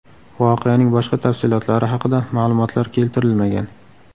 Voqeaning boshqa tafsilotlari haqida ma’lumotlar keltirilmagan.